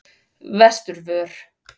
Vesturvör